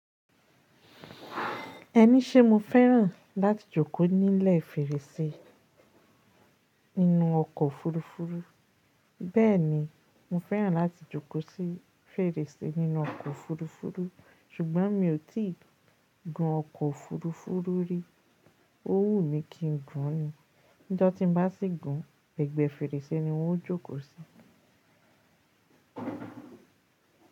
Ẹni ṣé mo fẹ́ràn láti jókòó nílẹ̀ fèrèsé nínú ọkọ̀ òfurufú? Bẹ́ẹ̀ni, mo fẹ́ràn láti jókòó sí fèrèsé nínú ọkọ̀ òfurufú ṣùgbọ́n mi ò tíì gun ọkọ̀ òfurufú rí. Ó wù mí kí n gun ni. Níjo tí n bá sì gun, egbe fèrèsé ni n o jókòó sí.